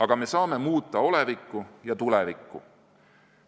Aga me saame muuta olevikku ja tulevikku.